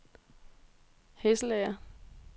Hesselager